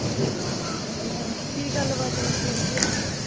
ਅਹ ਕੀ ਗੱਲ ਬਾਤ ਫੇਰ ਹੋਈ ਉੱਥੇ ਅੱਜ